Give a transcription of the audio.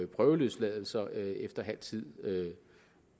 prøveløsladelser efter halv tid